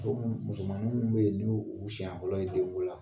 Muso minnu , mosomaninw minnu bɛ ni o ye senɲɛ fɔlɔ ye den ko la